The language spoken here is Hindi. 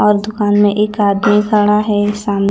और दुकान में एक आदमी खड़ा है साम--